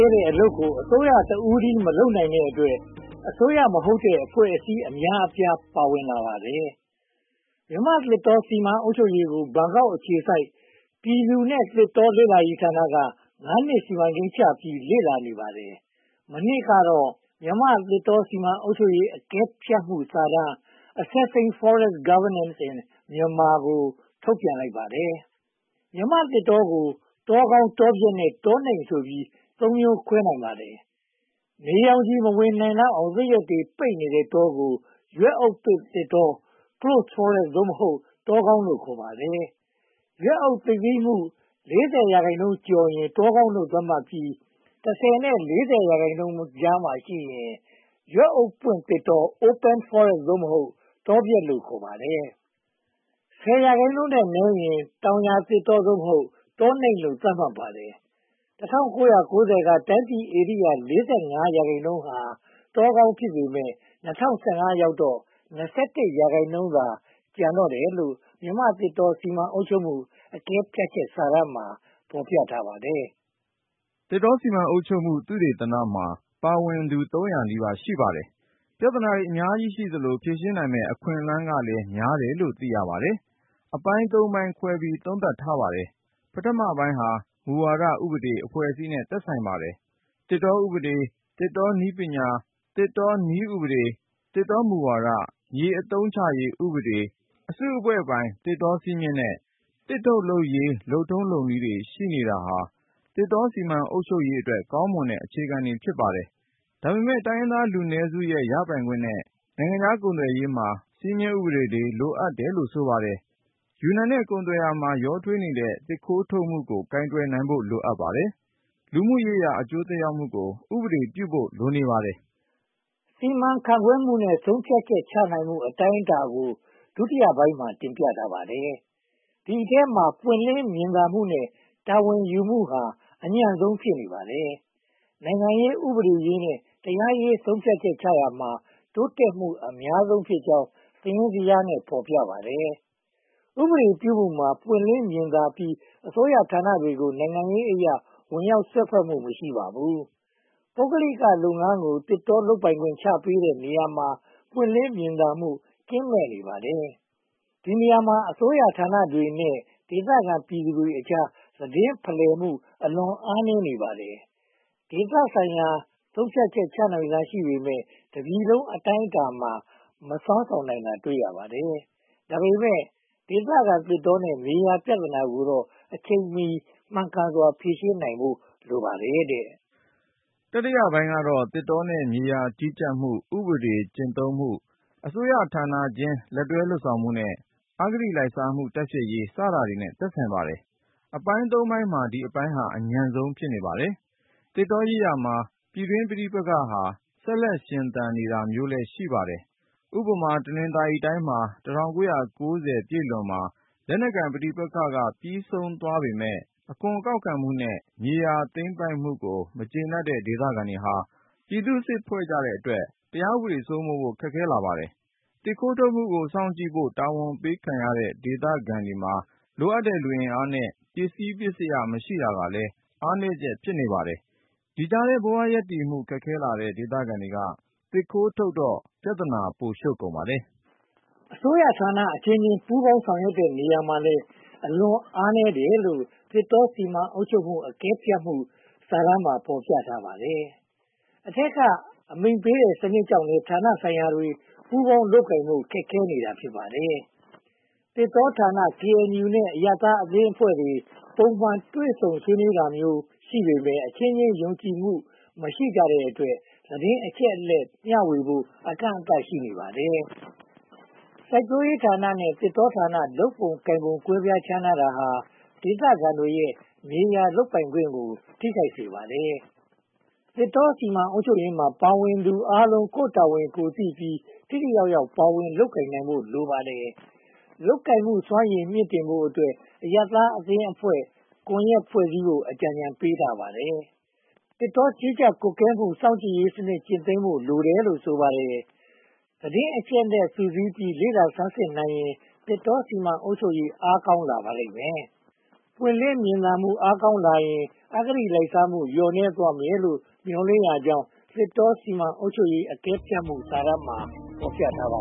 ဲတဲ့အလုပ်ကို အစိုးရတဦးတည်း မလုပ်နိုင်တဲ့အတွက် အစိုးရမဟုတ်တဲ့ အဖွဲ့အစည်း အများအပြား ပါဝင်နေပါတယ်။ မြန်မာ့သစ်တော စီမံအုပ်ချုပ်ရေးကို ဘန်ကောက်အခြေစိုက် ပြည်သူနဲ့သစ်တော လေ့လာရေးဌာနက (၅) နှစ် စီမံကိန်းချပြီး လေ့လာနေပါတယ်။ မနှစ်ကတော့ မြန်မာ့သစ်တော စီမံအုပ်ချုပ်ရေး အကဲဖြတ်စာတမ်း Assessing Forest Governance in Myanmar ကို ထုတ်ပြန်လိုက်ပါတယ်။ မြန်မာ့သစ်တောကို တောကောင်း၊ တောပျက်နဲ့ တောနိမ့်ဆိုပြီး (၃) မျိုး ခွဲခြားနိုင်ပါတယ်။ နေရောင်ခြည်မဝင်နိုင်လောက်အောင် သစ်ရွက်တွေ ပိတ်နေတဲ့တောကို ရွက်အုပ်ပိတ်သစ်တော Closed Forest (သို့မဟုတ်) တောကောင်းလို့ ခေါ်ပါတယ်။ ရွက်အုပ်သိပ်သည်းမှု (၄၀) ရာခိုင်နှုန်းကျော်ရင် တောကောင်းလို့ သတ်မှတ်ပြီး (၁၀) နဲ့ (၄၀) ရာခိုင်နှုန်းကြားမှာရှိရင် ရွက်အုပ်ပွင့်သစ်တော Open Forest (သို့မဟုတ်) တောပျက်လို့ ခေါ်ပါတယ်။ (၁၀) ရာခိုင်နှုန်းထက်နည်းရင် တောင်ယာသစ်တော (သို့မဟုတ်) တောနိမ့်လို့ သတ်မှတ်ပါတယ်။ ၁၉၉၀ က တိုင်းပြည်ဧရိယာ (၄၅) ရာခိုင်နှုန်းဟာ တောကောင်း ဖြစ်ပေမယ့် ၂၀၁၅ ရောက်တော့ (၂၁) ရာခိုင်နှုန်းသာ ကျန်ပါတော့တယ်လို့ "မြန်မာ့သစ်တော စီမံအုပ်ချုပ်မှု အကဲဖြတ်ချက်" စာတမ်းမှာ ဖော်ပြထားပါတယ်။ သစ်တောစီမံအုပ်ချုပ်မှု သုတေသနမှာ ပါဝင်သူ (၃၀၀) နီးပါး ရှိပါတယ်။ ပြဿနာတွေ အများကြီးရှိသလို၊ ဖြေရှင်းနိုင်မယ့် အခွင့်အလမ်းတွေလည်း များတယ်လို့ သိရပါတယ်။ အပိုင်း (၃) ပိုင်းခွဲပြီး သုံးသပ်ထားပါတယ်။ ပထမပိုင်းက မူဝါဒ၊ ဥပဒေ၊ အဖွဲ့အစည်းနဲ့ သက်ဆိုင်ပါတယ်။ သစ်တောဥပဒေ၊ သစ်တောနည်းဥပဒေ၊ သစ်တောမူဝါဒ၊ မြေအသုံးချရေးဥပဒေ၊ အစုအဖွဲ့ပိုင်းသစ်တောစည်းမျဉ်းနဲ့ သစ်ထုတ်လုပ်ရေး လုပ်ထုံးလုပ်နည်းတွေ ရှိနေတာဟာ သစ်တောစီမံအုပ်ချုပ်ရေးအတွက် ကောင်းမွန်တဲ့ အခြေခံတွေ ဖြစ်ပါတယ်။ ဒါပေမဲ့ တိုင်းရင်းသားလူနည်းစုရဲ့ ရပိုင်ခွင့်နဲ့ နိုင်ငံခြားကုန်သွယ်ရေးမှာ စည်းမျဉ်းတွေ လိုအပ်တယ်လို့ ဆိုပါတယ်။ ယူနန်နဲ့ ကုန်သွယ်ရေးမှာ ရောထွေးနေတဲ့ သစ်ခိုးထုတ်မှုကို ကိုင်တွယ်နိုင်ဖို့ လိုအပ်ပါတယ်။ လူမှုရေးရာ အကျိုးသက်ရောက်မှုကို ဥပဒေပြုဖို့ လိုနေပါတယ်။ စီမံခန့်ခွဲမှုနဲ့ ဆုံးဖြတ်ချက်ချနိုင်မှု အတိုင်းအတာကို ဒုတိယပိုင်းမှာ တင်ပြထားပါတယ်။ ဒီအထဲမှာ ပွင့်လင်းမြင်သာမှုနဲ့ တာဝန်ယူမှုဟာ အညံ့ဆုံးဖြစ်နေပါတယ်။ နိုင်ငံရေး၊ ဥပဒေရေးနဲ့ တရားရေး ဆုံးဖြတ်ချက်ချရာမှာ တိုးတက်မှုအများဆုံးဖြစ်ကြောင်း စာရင်းဇယားနဲ့ ဖော်ပြထားပါတယ်။ ဥပဒေပြုမှုမှာ ပွင့်လင်းမြင်သာပြီး အစိုးရဌာနတွေကို နိုင်ငံရေးအရ ဝင်ရောက်စွက်ဖက်မှု မရှိပါဘူး။ ပုဂ္ဂလိကလုပ်ငန်းကို သစ်တောလုပ်ပိုင်ခွင့် ချပေးတဲ့နေရာမှာ ပွင့်လင်းမြင်သာမှု ကင်းမဲ့နေပါတယ်။ ဒီနေရာမှာ အစိုးရဌာနတွေနဲ့ ဒေသခံပြည်သူတွေကြား သတင်းဖလှယ်မှု အလွန်အားနည်းနေပါတယ်။ ဒေသဆိုင်ရာမှာ ဆုံးဖြတ်ချက်ချနိုင်စွမ်း ရှိပေမယ့် တပြည်လုံးအတိုင်းအတာမှာ မစွမ်းဆောင်နိုင်တာတွေ တွေ့ရပါတယ်။ ဒါပေမဲ့ ဒေသခံသစ်တောနဲ့ မြေယာပြဿနာတွေကိုတော့ အချိန်မီ မှန်ကန်စွာ ဖြေရှင်းနိုင်ဖို့ လိုအပ်ပါတယ်။ တတိယပိုင်းကတော့ သစ်တောနဲ့ မြေယာကြီးကြပ်မှု၊ ဥပဒေကျင့်သုံးမှု၊ အစိုးရဌာနချင်း လက်တွဲလုပ်ဆောင်မှုနဲ့ အဂတိလိုက်စားမှု တိုက်ဖျက်ေ်ရး စတာတွေနဲ့ ဆိုင်ပါတယ်။ အပိုင်း (၃) ပိုင်းမှာ ဒီအပိုင်းက အညံ့ဆုံး ဖြစ်ပါတယ်။ သစ်တောရေးရာမှာ ပြည်တွင်းပဋိပက္ခ ဆက်လက်ရှင်သန်နေတာမျိုးလည်း ရှိပါတယ်။ ဥပမာ တနင်္သာရီတိုင်းမှာ ၁၉၉၀ ပြည့်လွန်မှာ လက်နက်ပဋိပက္ခတွေ ပြီးဆုံးသွားပေမယ့် အခွန်ကောက်ခံမှုနဲ့ မြေယာသိမ်းပိုက်မှုတွေကို မကျေနပ်တဲ့ဒေသခံတွေက ပြည်သူ့စစ်ဖွဲ့ကြတဲ့အတွက် တရားဥပဒေ စိုးမိုးဖို့ ခက်ခဲလာပါတယ်။ သစ်ခိုးထုတ်မှုကို စောင့်ကြည့်ဖို့ တာဝန်ပေးခံရတဲ့ ဒေသခံတွေမှာ လိုအပ်တဲ့ လူအင်အားနဲ့ ပစ္စည်းပစ္စယ မရှိတာကလည်း အားနည်းချက် ဖြစ်ပါတယ်။ ဒီကြားထဲ ဘဝရပ်တည်မှု ခက်ခဲလာတဲ့ ဒေသခံတွေကလည်း သစ်ခိုးထုတ်တော့ ပြဿနာ ပိုရှုပ်ကုန်ပါတယ်။ အစိုးရဌာနအချင်းချင်း ပူးပေါင်းဆောင်ရွက်တဲ့နေရာမှာလည်း အလွန်အားနည်းတယ်လို့ သစ်တောစီမံအုပ်ချုပ်ရေးအကဲဖြတ်မှု စာတမ်းမှာ ဖော်ပြထားပါတယ်။ အထက်ကအမိန့်ပေးတဲ့ စနစ်ကြောင့်လည်း ဌာနဆိုင်ရာတွေ ပူးပေါင်းလုပ်ကိုင်ဖို့ ခက်ခဲနေတာ ဖြစ်ပါတယ်။ သစ်တောဌာန၊ ကေအင်ယူနဲ့ အရပ်သားအဖွဲ့အစည်းတွေ ပုံမှန်တွေ့ဆုံတာမျိုး ရှိပေမယ့် အချင်းချင်းယုံကြည်မှု မရှိတဲ့အတွက် သတင်းအချက်အလက်မျှဝေဖို့ အကန့်အသတ် ရှိနေပါတယ်။ စိုက်ပျိုးရေးဌာနဲ့ သစ်တောဌာန လုပ်ပုံလုပ်နည်း ကွဲပြားခြားနားတာဟာ ဒေသခံတွေရဲ့ မြေယာလုပ်ပိုင်ခွင့်ကို ထိခိုက်စေပါတယ်။ သစ်တောစီမံအုပ်ချုပ်ရေးမှာ ပါဝင်သူအားလုံး ကိုယ့်တာဝန်ကိုယ်သိပြီး ထိထိရောက်ရောက် ပါဝင်လုပ်ကိုင်နိုင်ဖို့ လိုအပ်ပါတယ်။ လုပ်ကိုင်မှုစွမ်းရည် မြှင့်တင်ဖို့အတွက် အရပ်သားအသင်းအဖွဲ့ ကွန်ရက်ဖွဲ့စည်းဖို့ အကြံပေးထားပါတယ်။ သစ်တောကြီးကြပ်ကွပ်ကဲမှု စောင့်ကြည့်ရေးစနစ်ကျင့်သုံးဖို့ လိုတယ်လို့ ဆိုပါတယ်။ သတင်းအချက်အလက် စုစည်းပြီး လေ့လာဆန်းစစ်နိုင်ရင် သစ်တောစီမံအုပ်ချုပ်ရေး အားကောင်းလာပါလိမ့်မယ်။ ပွင့်လင်းမြင်သာမှု အားကောင်းလာရင် အဂတိလိုက်စားမှု လျော့နည်းသွားမယ်လို့ မျှော်လင့်ကြောင်း သစ်တောစီမံအုပ်ချုပ်ရေး အကဲဖြတ်စစ်တမ်းမှာ ဖော်ပြထားပါ